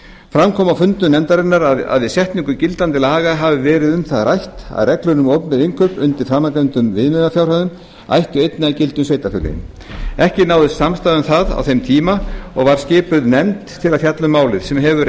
fram kom á fundum nefndarinnar að við setningu gildandi laga hafi verið um það rætt að reglur um opinber innkaup undir framangreindum viðmiðunarfjárhæðum ættu einnig að gilda um sveitarfélögin ekki náðist samstaða um það á þeim tíma og var skipuð nefnd til að fjalla um málið sem hefur